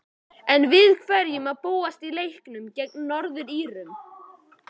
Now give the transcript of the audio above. En við hverju má búast í leiknum gegn Norður-Írum?